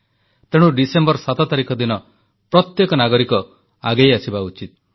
ତେଣୁ ଡିସେମ୍ବର 7 ତାରିଖ ଦିନ ପ୍ରତ୍ୟେକ ନାଗରିକ ଆଗେଇଆସିବା ଉଚିତ୍